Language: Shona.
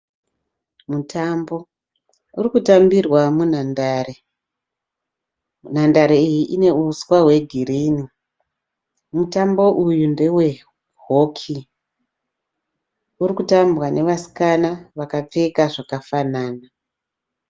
Mutambo uri kutambirwa munhandare. Nhandare iyi ine uswa hwegirinhi. Mutambo uyu ndewe hoki uri kutambwa nevasikana vakapfeka zvakafanana.